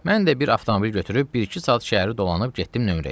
Mən də bir avtomobil götürüb bir-iki saat şəhəri dolanıb getdim nömrəyə.